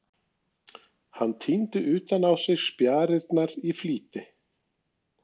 Hann týndi utan á sig spjarirnar í flýti.